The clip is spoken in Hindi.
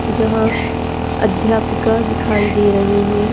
जहाँ अध्यापिका दिखाई दे रही हैं।